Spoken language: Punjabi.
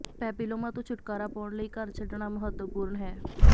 ਪੈਪਿਲੋਮਾ ਤੋਂ ਛੁਟਕਾਰਾ ਪਾਉਣ ਲਈ ਘਰ ਛੱਡਣਾ ਮਹੱਤਵਪੂਰਨ ਹੈ